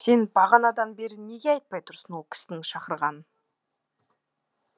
сен бағанадан бері неге айтпай тұрсың ол кісінің шақырғанын